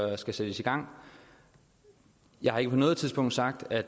der skal sættes i gang jeg har ikke på noget tidspunkt sagt at